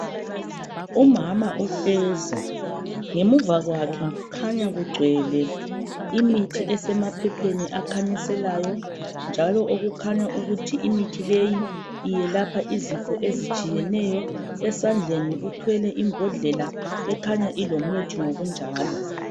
Umama uhlezi, ngemuva kwakhe kukhanya kugcwele imithi esemaphepheni akhanyiselayo njalo okukhanya ukuthi imithi leyi iyelapha izifo ezitshiyeneyo. Esandleni uthwele imbodlela ekhanya ilomuthi ngokunjalo